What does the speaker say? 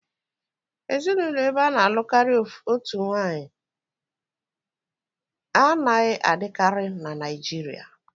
Ezinụlọ ebe ana-alụ karịa otu nwanyị anaghị adịkarị na Naịjirịa